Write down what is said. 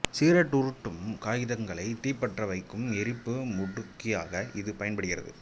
cigarette உருட்டும் காகிதங்களை தீப்பற்ற வைக்கும் எரிப்பு முடுக்கியாக இது பயன்படுகிறது